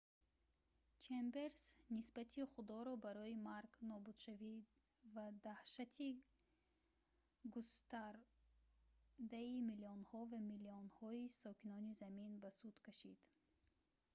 чемберс нисбати худоро барои марг нобудшавӣ ва даҳшати густардаи миллионҳо ва миллионҳои сокинони замин ба суд кашид